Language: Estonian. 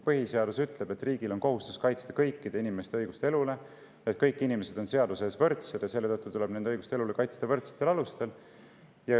Põhiseadus ütleb, et riigil on kohustus kaitsta kõikide inimeste õigust elule ja et kõik inimesed on seaduse ees võrdsed, ja selle tõttu tuleb nende õigust elule kaitsta võrdsetel alustel.